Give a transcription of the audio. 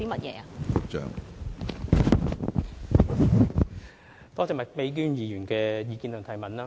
多謝麥美娟議員的意見及補充質詢。